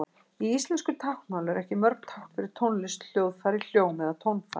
Í íslensku táknmáli eru ekki mörg tákn fyrir tónlist, hljóðfæri, hljóm eða tónfall.